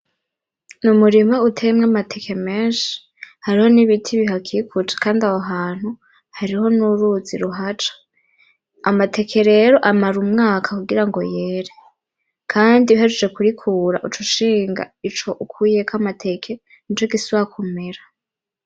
N'umurima uteyemwo amateke meshi hariho n'ibiti bihakikuje kandi aho hantu hariho n'uruzi ruhaca amateke rero amara umwaka kugira ngo yere kandi uhejeje kurikura uca ushinga ico ukuyeko amateke nico gisubira kumera.